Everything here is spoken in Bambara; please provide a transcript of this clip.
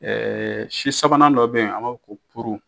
si sabanan dɔ bɛ yen an b'a fo ko furu